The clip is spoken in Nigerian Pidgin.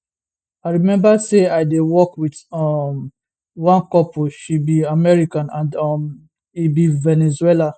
i remember say i dey work wit um one couple she be american and um e be venezuelan